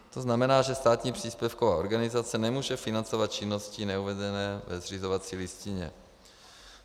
To znamená, že státní příspěvková organizace nemůže financovat činnosti neuvedené ve zřizovací listině.